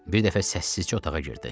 Bir dəfə səssizcə otağa girdi.